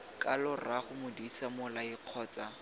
kalo rraago modise mmolai kgotsa